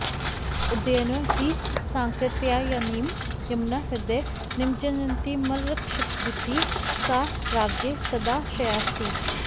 उदयनो हि सांकृत्यायनीं यमुनाह्रदे निमज्जन्तीमरक्षदिति सा राज्ञ सदाशयास्ति